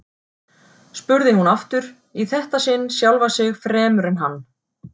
spurði hún aftur, í þetta sinn sjálfa sig fremur en hann.